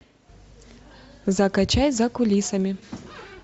закачай за кулисами